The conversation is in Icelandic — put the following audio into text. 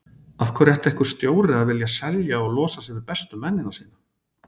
Af hverju ætti einhver stjóri að vilja selja og losa sig við bestu mennina sína?